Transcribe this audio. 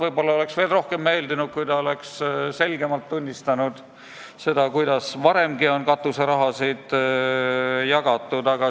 Võib-olla oleks see veel rohkem meeldinud, kui ta oleks selgemalt tunnistanud, et varemgi on katuserahasid samamoodi jagatud.